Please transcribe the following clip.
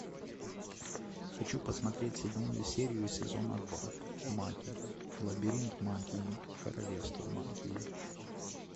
хочу посмотреть седьмую серию сезона два маги лабиринт магии королевство магии